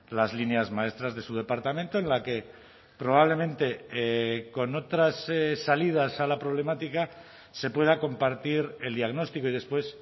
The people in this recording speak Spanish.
las líneas maestras de su departamento en la que probablemente con otras salidas a la problemática se pueda compartir el diagnóstico y después